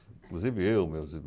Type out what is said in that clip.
Inclusive eu,